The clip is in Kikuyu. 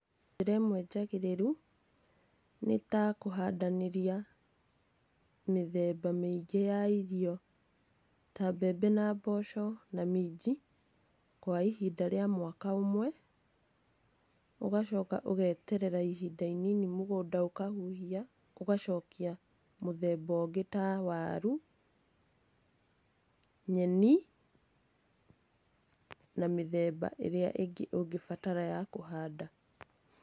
Njĩra ĩmwe njagĩrĩru nĩ ta kũhandanĩria mĩthemba mĩingĩ ya irio ta mbembe na mboco na minji kwa ihinda rĩa mwaka ũmwe, ũgacoka ũgeterera ihinda inini mũgũnda ũkahuhia, ũgacokia mũthemba ũngĩ ta waru, nyeni na mĩthemba ĩrĩa ĩngĩ ũngĩbatara ya kũhanda.